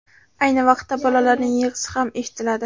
Ayni vaqtda, bolalarning yig‘isi ham eshitiladi.